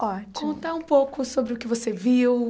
Ótimo Conta um pouco sobre o que você viu.